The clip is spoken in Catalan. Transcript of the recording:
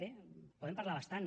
bé en podem parlar bastant